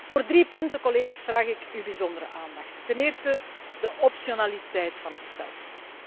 Voor drie punten, collega's, vraag ik uw bijzondere aandacht ten eerste, de optionaliteit van het stelsel.